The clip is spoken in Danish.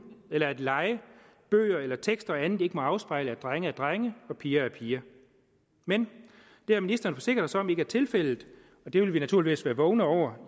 eller at lege bøger eller tekster og andet ikke må afspejle at drenge er drenge og piger er piger men det har ministeren forsikret os om ikke er tilfældet og det vil vi naturligvis være vågne over